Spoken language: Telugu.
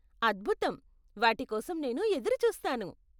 అద్భుతం, వాటికోసం నేను ఎదురుచూస్తాను.